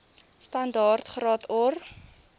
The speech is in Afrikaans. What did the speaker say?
standaard graad or